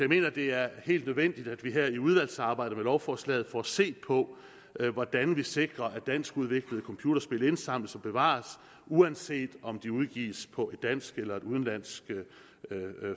mener det er helt nødvendigt at vi her i udvalgsarbejdet om lovforslaget får set på hvordan vi sikrer at danskudviklede computerspil indsamles og bevares uanset om de udgives på et dansk eller et udenlandsk